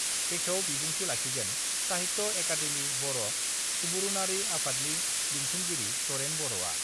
बेखेव बिबुंथि लाखिगोन साहित्य एकाडेमि बर' सुबुरुनारि आफादनि लिंथुमगिरि तरेन बर'आ।